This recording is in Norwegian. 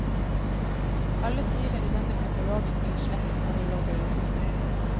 Alle filer i denne katalogen blir slettet når du logger ut.